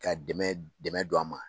Ka dɛmɛ don an ma.